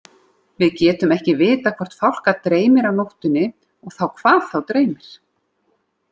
Við getum ekki vitað hvort fálka dreymir á nóttunni og þá hvað þá dreymir.